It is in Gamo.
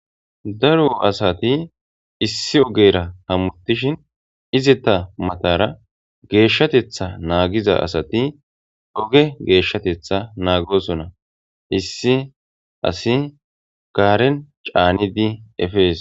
daro asati issi ogera hamutishin izeetta matara geeshshatetha naagiza asati oge geeshshatetha naagosonna issi asi gaaren caanidi efees